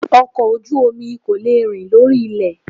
Ọkọ̀ ojú omi kò lè rìn lórí ilẹ̀